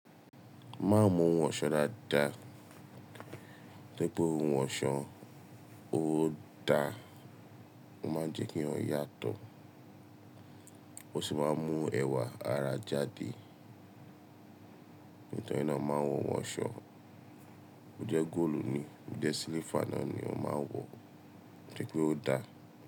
Má n mu oun ọ̀ṣọ́ dáadáa, toripe oun ọ̀ṣọ́ ó dá, ó máa ń jẹ́ kí èèyàn yàtọ̀ ó sì máa ń mú ẹwà ara jáde. Nítorí náà, máa ń wọ oun ọ̀ṣọ́. Ó jẹ́ góòlù ni, ó jẹ́ silifa náà ni ọ máa ń wọ, títí pé ó dáa.